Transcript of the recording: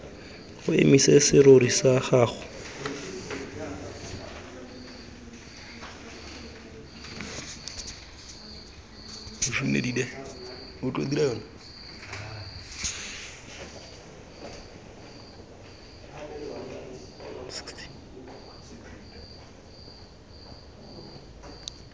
o emise serori sa gago